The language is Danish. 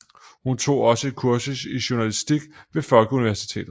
Hun tog også et kursus i journalistik ved Folkeuniversitetet